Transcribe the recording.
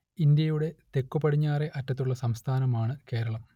ഇന്ത്യയുടെ തെക്കുപടിഞ്ഞാറെ അറ്റത്തുള്ള സംസ്ഥാനമാണ് കേരളം